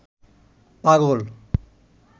পাগল